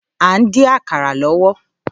À ń dín àkàrà lọ́wọ́